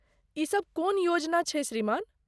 ई सब कोन योजना छै श्रीमान?